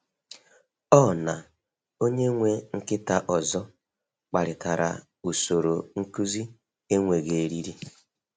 Ọ na onye nwe nkịta ọzọ kparịtara usoro nkuzi enweghị eriri.